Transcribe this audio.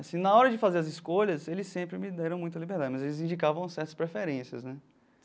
Assim, na hora de fazer as escolhas, eles sempre me deram muita liberdade, mas eles indicavam certas preferências, né?